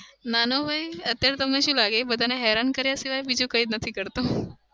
નાનો ભાઈ અત્યારે તો તમને શું લાગે? બધાને હેરાન કર્યા સિવાય બીજું કઈ નથી કરતો.